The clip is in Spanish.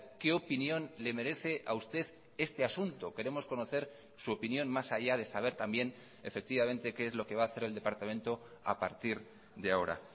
qué opinión le merece a usted este asunto queremos conocer su opinión más allá de saber también efectivamente qué es lo que va a hacer el departamento a partir de ahora